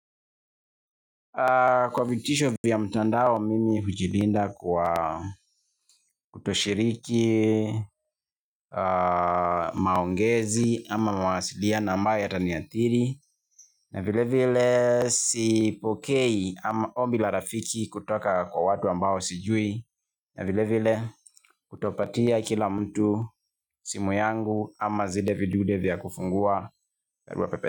Kwa vitisho vya mtandao mimi hujilinda kwa kutoshiriki maongezi ama mawasiliano ambayo yataniathiri na vile vile sipokei ama ombi la rafiki kutoka kwa watu ambao sijui na vile vile kutopatia kila mtu simu yangu ama zile vidude vya kufungua.